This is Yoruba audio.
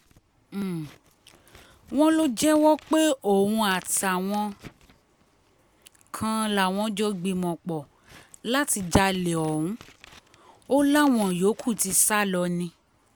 um wọ́n lọ jẹ́wọ́ pé òun àtàwọn um kan làwọn jọ gbìmọ̀-pọ̀ láti jalè ọ̀hún o láwọn yòókù ti sá lọ ni